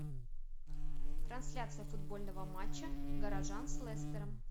трансляция футбольного матча горожан с лестером